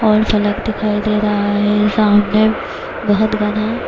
اور فلک دکھائی دے رہا ہے سامنے بہت گھنا--